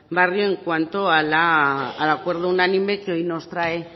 barrio en cuanto al acuerdo unánime que hoy nos trae